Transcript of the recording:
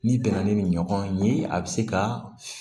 N'i bɛnna ni nin ɲɔgɔn ye a bɛ se ka